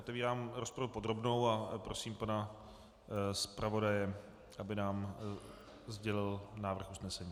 Otevírám rozpravu podrobnou a prosím pana zpravodaje, aby nám sdělil návrh usnesení.